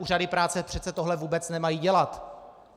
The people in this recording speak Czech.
Úřady práce přece tohle vůbec nemají dělat.